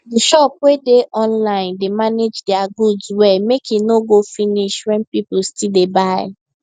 the shop wey dey online dey manage their goods well make e no go finish when people still dey buy